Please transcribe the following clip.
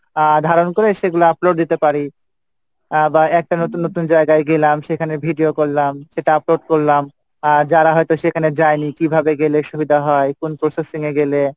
আহ ধারণ করে সেগুলা upload দিতে পারি আহ বা একটা নতুন নতুন জায়গায় গেলাম সেখানে video করলাম সেটা upload করলাম আহ যারা হয়তো সেখানে যাই নি কীভাবে গেলে সুবিধা হয় কোন গেলে,